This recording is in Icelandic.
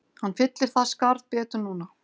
Hann fyllir það skarð betur núna